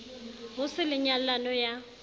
ho se le nyallano ya